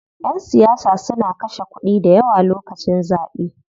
Ƴan siyasa suna kashe kuɗi dayawa lokacin zaɓe.